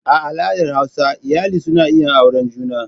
A al'adar hausa iyali suna iya auren juna.